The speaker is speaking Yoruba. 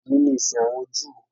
Òní ni ìsìn àwọn Júù